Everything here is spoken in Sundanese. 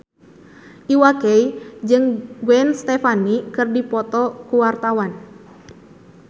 Iwa K jeung Gwen Stefani keur dipoto ku wartawan